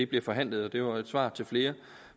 bliver forhandlet det var et svar til flere